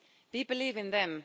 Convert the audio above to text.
We believe in them.